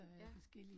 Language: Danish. Ja